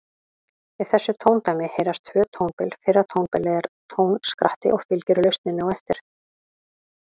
Í þessu tóndæmi heyrast tvö tónbil, fyrra tónbilið er tónskratti og fylgir lausnin á eftir.